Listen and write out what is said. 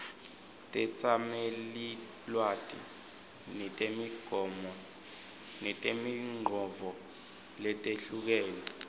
tetsamelilwati netimongcondvo letehlukene